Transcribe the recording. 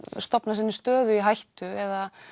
stofna sinni stöðu í hættu eða